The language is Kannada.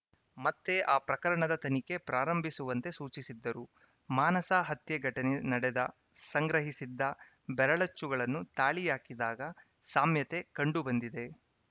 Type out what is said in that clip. ಮತ್ತೆ ಆ ಪ್ರಕರಣದ ತನಿಖೆ ಪ್ರಾರಂಭಿಸುವಂತೆ ಸೂಚಿಸಿದ್ದರು ಮಾನಸ ಹತ್ಯೆ ಘಟನೆ ನಡೆದ ಸಂಗ್ರಹಿಸಿದ್ದ ಬೆರಳಚ್ಚುಗಳನ್ನು ತಾಳಿ ಹಾಕಿದಾಗ ಸಾಮ್ಯತೆ ಕಂಡು ಬಂದಿದೆ